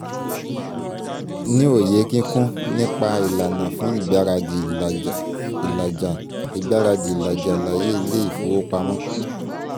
ní òye kíkún nípa ìlànà fún ìgbáradì ìlàjà ìgbáradì ìlàjà àlàyé ilé ìfowopamọ́